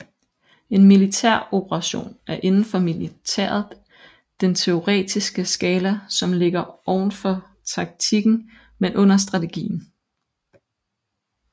En militær operation er indenfor militæret den teoretiske skala som ligger ovenfor taktikken men under strategien